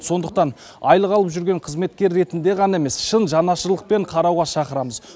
сондықтан айлық алып жүрген қызметкер ретінде ғана емес шын жанашырлықпен қарауға шақырамыз